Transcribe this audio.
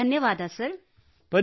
ಧನ್ಯವಾದ sir thank you sir